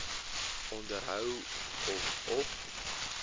onderhou of op